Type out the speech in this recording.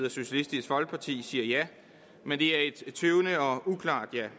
og socialistisk folkeparti siger ja men det er et tøvende og uklart ja